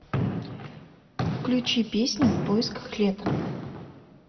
включи песня в поисках лета